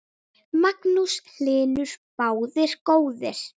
Magnús Hlynur: Báðir góðir?